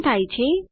શું થાય છે